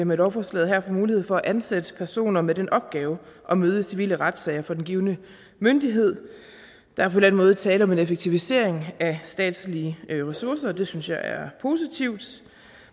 med lovforslaget her får mulighed for at ansætte personer med den opgave at møde i civile retssager for den givne myndighed der er på den måde tale om en effektivisering af statslige ressourcer og det synes jeg er positivt